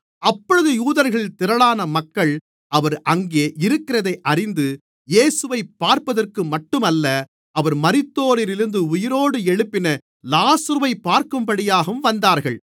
அப்பொழுது யூதர்களில் திரளான மக்கள் அவர் அங்கே இருக்கிறதை அறிந்து இயேசுவைப் பார்ப்பதற்கு மட்டுமல்ல அவர் மரித்தோரிலிருந்து உயிரோடு எழுப்பின லாசருவைப் பார்க்கும்படியாகவும் வந்தார்கள்